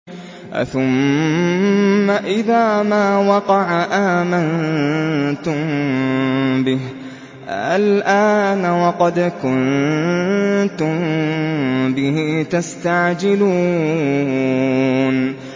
أَثُمَّ إِذَا مَا وَقَعَ آمَنتُم بِهِ ۚ آلْآنَ وَقَدْ كُنتُم بِهِ تَسْتَعْجِلُونَ